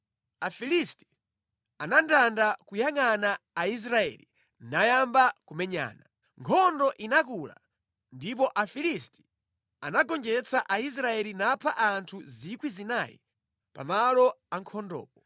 Afilisti anandanda kuyangʼana Aisraeli nayamba kumenyana. Nkhondo inakula ndipo Afilisti anagonjetsa Aisraeli napha anthu 4,000 pa malo a nkhondopo.